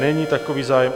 Není takový zájem.